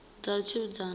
dza u tsivhudza nga ha